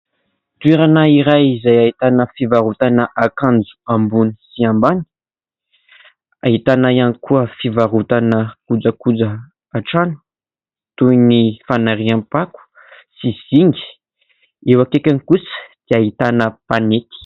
Toerana iray izay ahitana fivarotana akanjo ambony sy ambany, ahitana iany koa fivarotana kojakojan-trano toy ny fanariam-pako sy zinga. Eo akaikiny kosa dia ahitana mpanety.